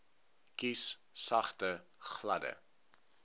kies sagte gladde